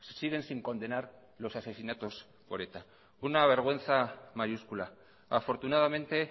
siguen sin condenar los asesinatos por eta una vergüenza mayúscula afortunadamente